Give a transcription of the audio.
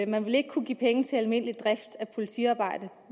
man vil ikke kunne give penge til almindelig drift af politiarbejde